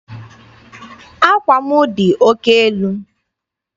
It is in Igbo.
Àkwà m dị oke elu.